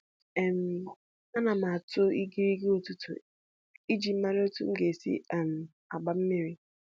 um Ana m atụ igirigi ụtụtụ iji mara otu m ga-esi um gbaa mmiri.